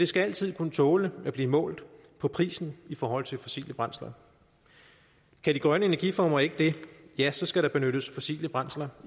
skal altid kunne tåle at blive målt på prisen i forhold til fossile brændsler kan de grønne energiformer ikke det ja så skal der benyttes fossile brændsler